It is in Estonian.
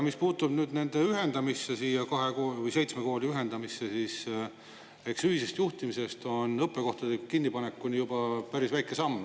Mis puutub nüüd seitsme kooli ühendamisse, siis ühisest juhtimisest õppekohtade kinnipanekuni on juba päris väike samm.